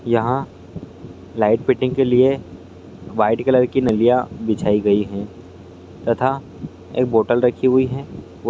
यहाँ light fitting के लिए वाइट कलर की नालियां बिछाई गई है तथा एक बोतल रखी हुई है। बो --